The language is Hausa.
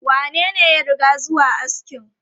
Wanene ya riga zuwa askin?